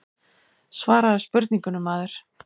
Svaraðu spurningunni maður.